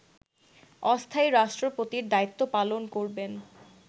অস্থায়ী রাষ্ট্রপতির দায়িত্ব পালন করবেন